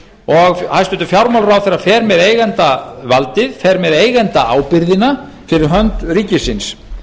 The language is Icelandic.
og hæstvirtur fjármálaráðherra fer með eigendavaldið fer með eigendaábyrgðina fyrir hönd ríkisins